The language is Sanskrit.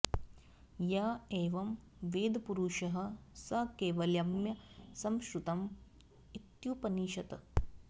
य एवं वेद पुरुषः स कैवल्यं समश्नुत इत्युपनिषत्